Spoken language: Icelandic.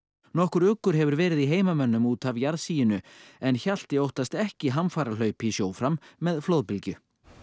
nokkur uggur hefur verið í heimamönnum út af jarðsiginu en Hjalti óttast ekki hamfarahlaup í sjó fram með flóðbylgju